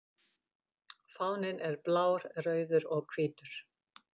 Fáninn er blár, rauður og hvítur.